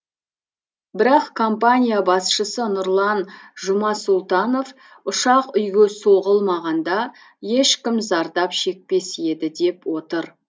бірақ компания басшысы нұрлан жұмасұлтанов ұшақ үйге соғылмағанда ешкім зардап шекпес еді деп отыр